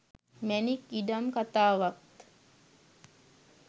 මැණික් ඉඩම් කතාවත්